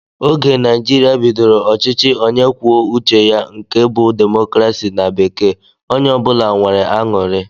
Oge Naijiria bidoro ọchịchị onye kwuo uche ya nke bú democracy na bekee onye ọbula nwèrè añụrị